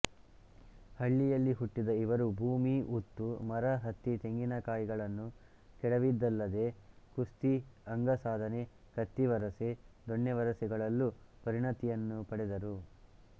ಹಳ್ಳಿಯಲ್ಲಿ ಹುಟ್ಟಿದ ಇವರು ಭೂಮಿ ಉತ್ತು ಮರ ಹತ್ತಿ ತೆಂಗಿನಕಾಯಿಗಳನ್ನು ಕೆಡವಿದ್ದಲ್ಲದೆ ಕುಸ್ತಿ ಅಂಗಸಾಧನೆ ಕತ್ತಿವರಸೆ ದೊಣ್ಣೆವರಸೆಗಳಲ್ಲು ಪರಿಣಿತಿಯನ್ನು ಪಡೆದರು